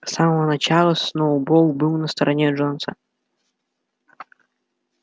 с самого начала сноуболл был на стороне джонса